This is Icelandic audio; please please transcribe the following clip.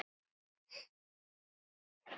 Þannig voru kynnin af Jónu.